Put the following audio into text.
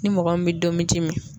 Ni mɔgɔ min bɛ domiji min